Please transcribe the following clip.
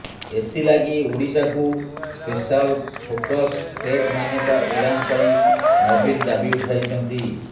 ଏଥିଲାଗି ଓଡ଼ିଶାକୁ special focus state ମାନ୍ୟତା ପ୍ରଦାନ ପାଇଁ ନବୀନ ଦାବି ଉଠାଇଛନ୍ତି